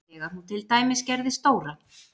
Þegar hún til dæmis gerði stóra